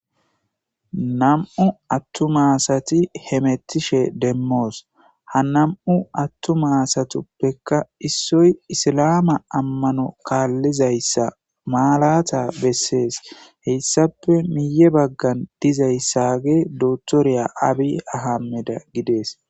nam7u attumma asati hemettishe demmoos ha nam7u attu maasatuppeka issoy isilaama ammano kaallizayssa maalata bessees heyssape miye baggan dizayssage dotoriya abi ahameda gidees